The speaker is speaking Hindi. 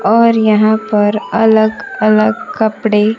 और यहां पर अलग अलग कपड़े--